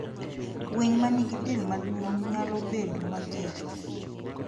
Winy ma nigi del maduong nyalo bedo mager.